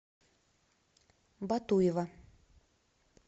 батуева